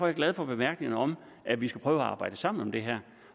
jeg glad for bemærkningen om at vi skal prøve at arbejde sammen om det her